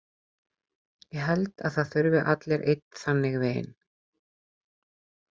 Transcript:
Ég held að það þurfi allir einn þannig vin.